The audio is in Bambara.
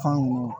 Fɛn nunnu